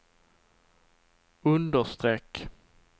understreck